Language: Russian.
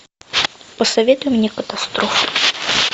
посоветуй мне катастрофу